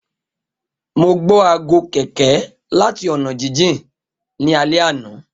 Mo gbọ aago kẹ̀kẹ́ lati ọna jijin ni alẹ ana.